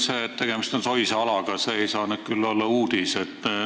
See, et tegemist on soise alaga, ei saa nüüd küll olla uudis.